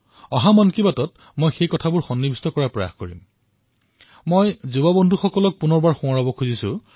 মই আগন্তুক মন কী বাতত সেয়া উল্লেখ কৰাৰ বাবে প্ৰয়াস কৰি আৰু মই মোৰ যুৱ বন্ধুসকলক পুনৰবাৰ সোঁৱৰাই দিছো